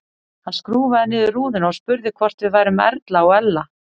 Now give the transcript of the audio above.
Hann skrúfaði niður rúðuna og spurði hvort við værum Erla og Ella.